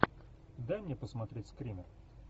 дай мне посмотреть скример